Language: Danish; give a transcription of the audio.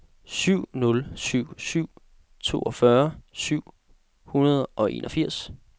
syv nul syv syv toogfyrre syv hundrede og enogfirs